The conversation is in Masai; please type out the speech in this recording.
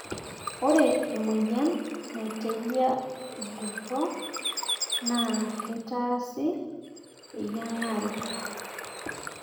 ORE emoyian naitejia irgoso naa keitaasi eyiang'are